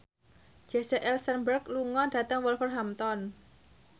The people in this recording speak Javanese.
Jesse Eisenberg lunga dhateng Wolverhampton